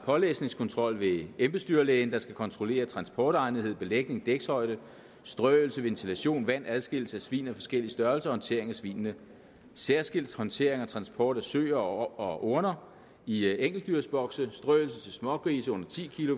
pålæsningskontrol ved at embedslægen skal kontrollere transportegnethed belægning dækshøjde strøelse ventilation vand adskillelse af svin i forskellige størrelser og håndtering af svinene særskilt håndtering og transport af søer og orner i enkeltdyrsbokse strøelse til smågrise under ti